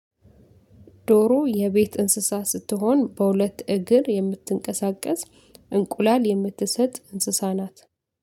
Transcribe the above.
ዶሮ የቤት እንስሳ ስትሆን በሁለት እግር የምትንቀሳቀስ እንቁላል የምትሰጥ እንስሳ ናት